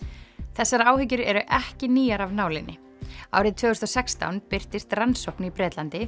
þessar áhyggjur eru ekki nýjar af nálinni árið tvö þúsund og sextán birtist rannsókn í Bretlandi